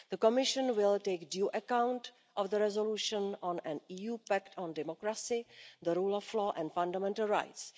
The Commission will take due account of the resolution on an EU pact on democracy, the rule of law and fundamental rights.